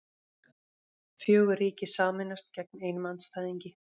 Fjögur ríki sameinast gegn einum andstæðingi